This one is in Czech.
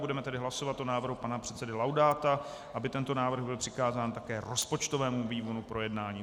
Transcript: Budeme tedy hlasovat o návrhu pana předsedy Laudáta, aby tento návrh byl přikázán také rozpočtovému výboru k projednání.